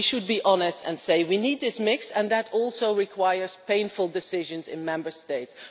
We should be honest and say we need this mix and that this also requires painful decisions in the Member States.